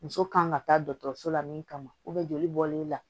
Muso kan ka taa dɔgɔtɔrɔso la min kama joli bɔlen la